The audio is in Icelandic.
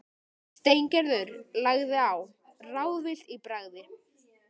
Steingerður lagði á, ráðvillt í bragði.